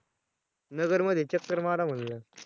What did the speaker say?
नगरमध्ये चक्कर मारा म्हंटल